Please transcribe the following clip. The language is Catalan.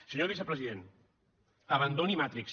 senyor vicepresident abandoni matrix